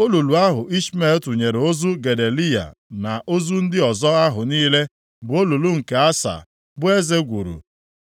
Olulu ahụ Ishmel tụnyere ozu Gedaliya na ozu ndị ọzọ ahụ niile bụ olulu nke Asa bụ eze gwuru